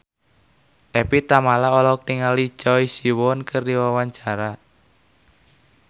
Evie Tamala olohok ningali Choi Siwon keur diwawancara